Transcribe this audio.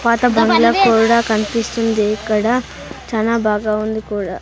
పాత బంగ్లా కూడా కన్పిస్తుంది ఇక్కడ చానా బాగా ఉంది కూడా.